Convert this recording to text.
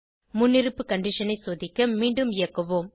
முன்னிருப்பு கண்டிஷன் ஐ சோதிக்க மீண்டும் இயக்குவோம்